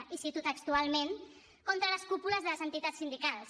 i cito textualment contra les cúpules de les entitats sindicals